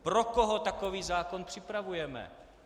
Pro koho takový zákon připravujeme?